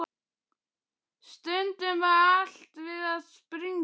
Stundum var allt við það að springa.